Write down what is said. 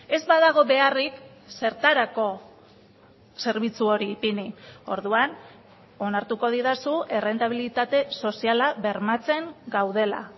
ez badago beharrik zertarako zerbitzu hori ipini orduan onartuko didazu errentabilitate soziala bermatzen gaudela